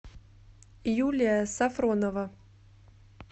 юлия сафронова